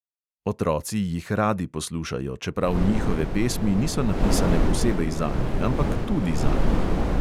Otroci jih radi poslušajo, čeprav njihove pesmi niso napisane posebej zanje, ampak tudi zanje.